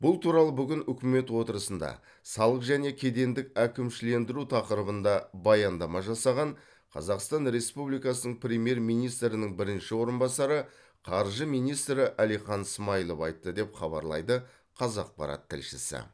бұл туралы бүгін үкімет отырысында салық және кедендік әкімшілендіру тақырыбында баяндама жасаған қазақстан республикасының премьер министрінің бірінші орынбасары қаржы министрі әлихан смайылов айтты деп хабарлайды қазақпарат тілшісі